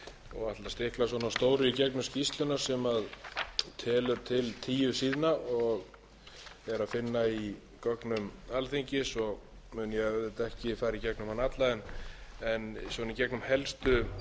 og ætla að stikla á síður í gegnum skýrsluna sem telur til tíu síðna og er að finna í gögnum alþingis og mun ég auðvitað ekki fara í gegnum hana alla en í gegnum helstu